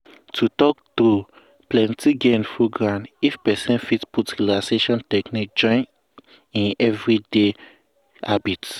to talk true plenty gain full ground if person fit put relaxation technique join i'm everyday habit.